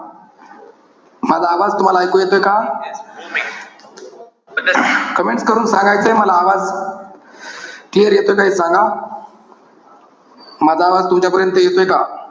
माझा आवाज तुम्हाला ऐकू येतोय का? comment करून सांगायचंय मला. आवाज, clear येतोय का हे सांगा. माझा आवाज तुमच्यापर्यंत येतोय का?